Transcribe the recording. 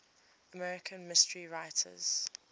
american mystery writers